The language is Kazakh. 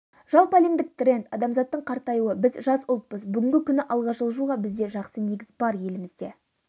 жалпыәлемдік тренд адамзаттың қартаюы біз жас ұлтпыз бүгінгі күні алға жылжуға бізде жақсы негіз бар елімізде